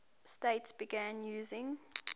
states began using